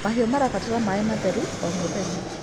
Mahĩũ marabatara maĩ matherũ o mũthenya